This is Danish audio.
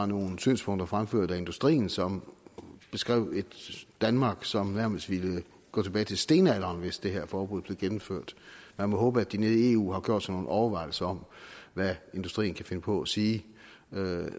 nogle synspunkter fremført af industrien som beskrev et danmark som nærmest ville gå tilbage til stenalderen hvis det her forbud blev gennemført man må håbe at de nede i eu har gjort sig nogle overvejelser om hvad industrien kan finde på at sige